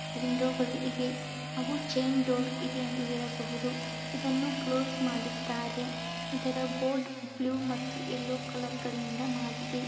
ವಿಂಡೋಗಳು ಇವೆ ಹಾಗೂ chain door ಇದೆ ಎಂದು ಹೇಳಬಹುದು ಇದನ್ನು ಕ್ಲೋಸ್ ಮಾಡಿದ್ದಾರೆ ಇದರ ಬೋರ್ಡ್ ಬ್ಲೂ ಮತ್ತೆ ಎಲ್ಲೋ ಕಲರ್ ಗಳಿಂದ ಮಾಡಿದೆ.